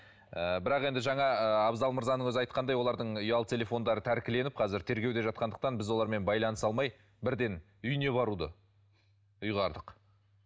ыыы бірақ енді жаңа ы абзал мырзаның өзі айтқандай олардың ұялы телефондары тәркіленіп қазір тергеуде жатқандықтан біз олармен байланыса алмай бірден үйіне баруды ұйғардық